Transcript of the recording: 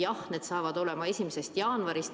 Jah, see saab olema 1. jaanuarist.